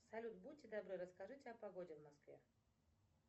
салют будьте добры расскажите о погоде в москве